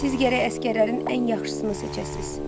Siz gərək əsgərlərin ən yaxşısını seçəsiniz.